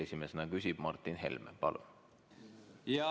Esimesena küsib Martin Helme, palun!